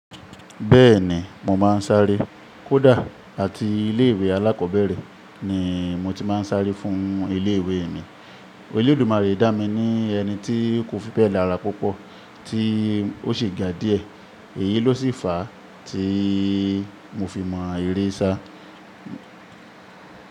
Bẹ́ẹ̀ni mo máa ń sáré. Kódà àti ilé ìwé alákọ̀ọ́bẹ̀rẹ̀ ni mo ti máa ń sáré fún ilé ìwé mi. Olọ̀dùmárẹ́ dá mi ní ẹni tí kò fi bẹ́ẹ̀ lára púpọ̀ tí ó sì ga díẹ̀. Èyí ló sì fàá tí mo fi mọ eré sá.